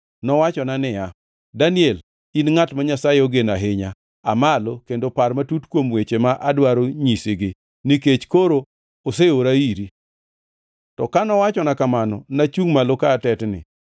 Nowachona niya, “Daniel, in ngʼat ma Nyasaye ogeno ahinya, aa malo kendo par matut kuom weche ma adwaro nyisigi, nikech koro oseora iri.” To ka nowachona kamano, nachungʼ malo ka atetni.